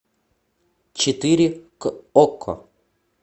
четыре к окко